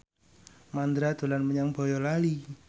Mandra dolan menyang Boyolali